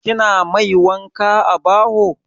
Kina mai wanka a baho?